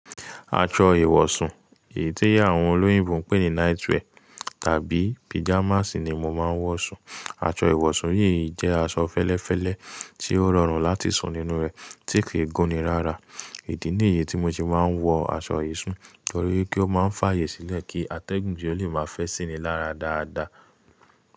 Aṣọ ìwọ̀sùn, èyí tí àwọn olóyìnbó ń pè ní night wear tàbí pajamas ni mo máa ń wọ̀ sùn. Aṣọ ìwọ̀sùn yìí jẹ́ aṣọ fẹ́lẹ́fẹ́lẹ́ tí ó rọrùn láti sùn nínú rẹ̀, tí kì í gún ni rárá. Ìdí nìyí tí mo ṣe máa ń wọ̀ aṣọ yìí sùn torí wípé ó máa ń fààyè sílẹ̀ kí atẹ́gùn díẹ̀ lè máa fẹ́ sí ni lára dáadáa.